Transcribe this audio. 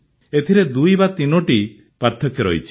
ଏଥିରେ ୨୩ଟି ପାର୍ଥକ୍ୟ ରହିଛି